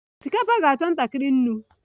Osikapa ga-achọ ntakịrị nnu